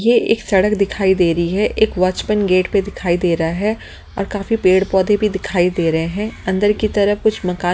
ये एक सड़क दिखाई दे रही है एक वाचमन गेट पे दिखाई दे रहा है और काफी पेड़-पौधे भी दिखाई दे रहे हैं अंदर की तरफ कुछ मकान--